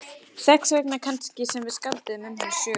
Þess vegna kannski sem við skálduðum um hana sögu.